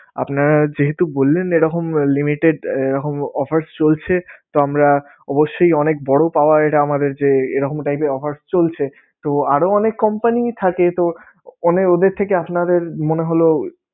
আপনারা যেহেতু বললেন এরকম limited এরকম offers চলছে তো আমরা অবশ্যই অনেক বড় পাওয়া এটা আমাদের যে, এরকম type এর offers চলছেতো আরও অনেক company থাকে তো ওদের থেকে আপনাদের মনে হলো